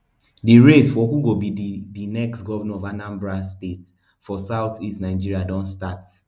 di race for who go be di di next govnor of anambra state for southeast nigeria don start